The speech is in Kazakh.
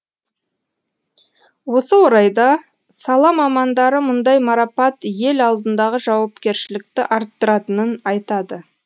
осы орайда сала мамандары мұндай марапат ел алдындағы жауапкершілікті арттыратынын айтады